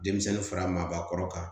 Denmisɛnnin fara maabakɔrɔ kan